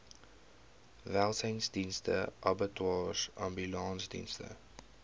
welsynsdienste abattoirs ambulansdienste